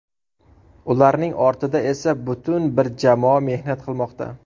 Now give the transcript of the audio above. Ularning ortida esa butun bir jamoa mehnat qilmoqda.